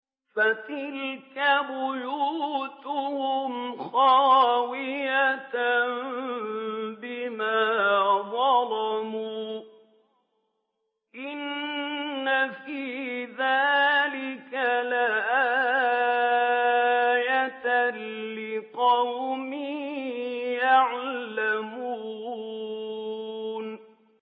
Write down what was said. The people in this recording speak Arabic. فَتِلْكَ بُيُوتُهُمْ خَاوِيَةً بِمَا ظَلَمُوا ۗ إِنَّ فِي ذَٰلِكَ لَآيَةً لِّقَوْمٍ يَعْلَمُونَ